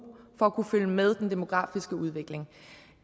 for at kunne følge med den demografiske udvikling